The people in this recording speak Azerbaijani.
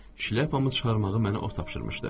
Şlyapamı çıxarmağı mənə o tapşırmışdı.